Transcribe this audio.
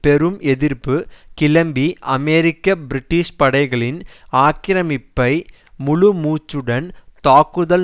பெரும் எதிர்ப்பு கிளம்பி அமெரிக்க பிரிட்டிஷ் படைகளின் ஆக்கிரமிப்பை முழுமூச்சுடன்தாக்குதல்